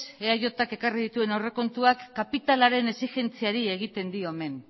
eajk ekarri dituen aurrekontuak kapitalaren exigentziari egiten dion men